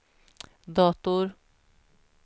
dator